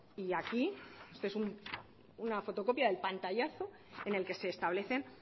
y aquí esto es una fotocopia del pantallazo en el que se establecen